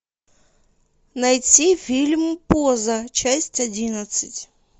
найти фильм поза часть одиннадцать